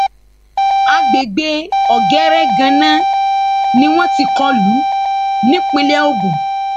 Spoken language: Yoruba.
àgbègbè ọgẹrẹ ganná ni wọn ti kọ lù ú nípìnlẹ ogun